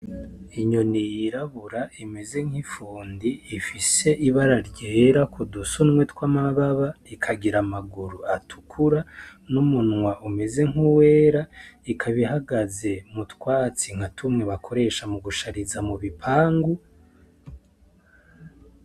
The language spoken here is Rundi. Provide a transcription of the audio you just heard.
Inyoni yirabura imenze nk'ifundi, ifise ibara ryera ku dusunwe tw'amababa, ikagira amaguru atukura, n'umunwa umeze nk'uwera, ikaba ihagaze mu twatsi nka tumwe bakoresha mu gushariza mu bipangu.